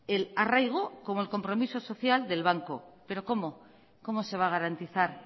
el arraigo como el compromiso social del banco pero cómo cómo se va a garantizar